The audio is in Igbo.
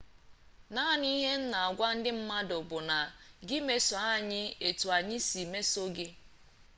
naanị ihe m na-agwa ndị mmadụ bụ na gị meso anyị etu anyị si emeso gị